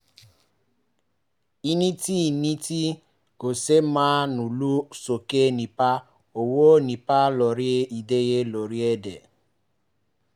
ìní ti ìní ti kò ṣeé máa ń lo sókè nípa owó ń ní ipa lórí ìdílé lórílẹ̀-èdè